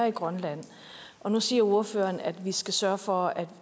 i grønland nu siger ordføreren at vi skal sørge for at